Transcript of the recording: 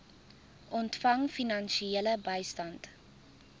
ontvang finansiële bystand